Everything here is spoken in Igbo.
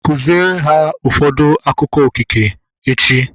Kụziere ụfọdụ akụkọ okike echi!